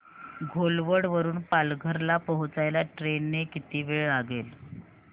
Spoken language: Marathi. घोलवड वरून पालघर ला पोहचायला ट्रेन ने किती वेळ लागेल